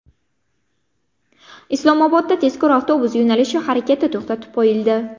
Islomobodda tezkor avtobus yo‘nalishi harakati to‘xtatib qo‘yildi.